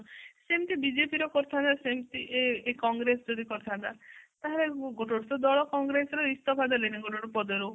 ସେମିତି ବିଜେପି ସେମିତି କଂଗ୍ରେସ ଯଦି କରିଥାନ୍ତା ତା ହେଲେ ଗୋଟେ ଗୋଟେ ଦଳ କଂଗ୍ରେସ ର ଇସ୍ତଫା ଦେଲେଣି ଗୋଟେ ଗୋଟେ ପଦ ରୁ